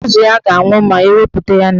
Azụ ya ga-anwụ ma ewepụta ya na mmiri.